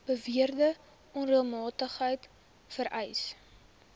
beweerde onreëlmatigheid vereis